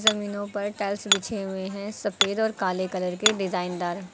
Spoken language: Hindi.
जमीनों पर टाइल्स बिछे हुए हैं सफेद और काले कलर के डिजाइनदार।